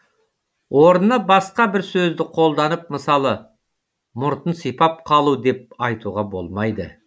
орнына басқа бір сөзді колданып мысалы мұртын сипап қалу деп айтуға болмайды